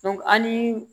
an ni